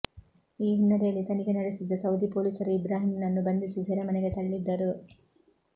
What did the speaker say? ಈ ಹಿನ್ನೆಲೆಯಲ್ಲಿ ತನಿಖೆ ನಡೆಸುತಿದ್ದ ಸೌದಿ ಪೊಲೀಸರು ಇಬ್ರಾಹಿಂನನ್ನು ಬಂಧಿಸಿ ಸೆರೆಮನೆಗೆ ತಳ್ಳಿದ್ದರು